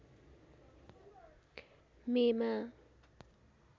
मे मा